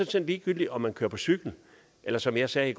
set ligegyldigt om man kører på cykel eller som jeg sagde